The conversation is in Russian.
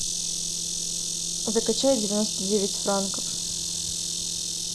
закачай девяносто девять франков